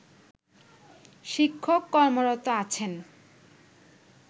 শিক্ষক কর্মরত আছেন